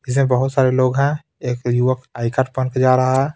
इसमें बहुत सारे लोग हैं एक युवक आई कार्ड बन के जा रहा है.